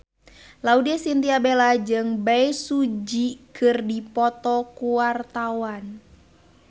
Laudya Chintya Bella jeung Bae Su Ji keur dipoto ku wartawan